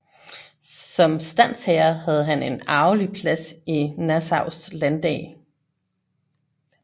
Som standsherre have han en arvelig plads i Nassaus landdag